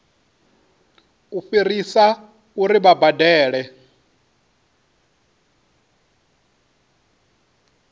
u fhirisa uri vha badele